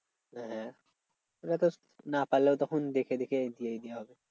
হ্যাঁ ওটা তো না পারলেও তখন দেখে দেখে দিয়ে দিলেও হবে।